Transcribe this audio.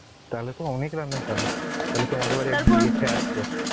তাহলে তো অনেক রান্নাই জানো তাহলে তোমাদের বাড়ি গিয়ে খেয়ে আসবো